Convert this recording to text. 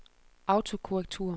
autokorrektur